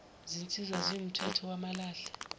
zinsiza ziwumphetho wamalahle